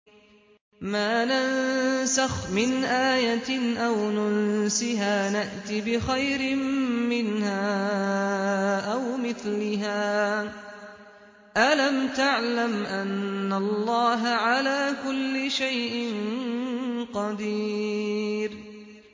۞ مَا نَنسَخْ مِنْ آيَةٍ أَوْ نُنسِهَا نَأْتِ بِخَيْرٍ مِّنْهَا أَوْ مِثْلِهَا ۗ أَلَمْ تَعْلَمْ أَنَّ اللَّهَ عَلَىٰ كُلِّ شَيْءٍ قَدِيرٌ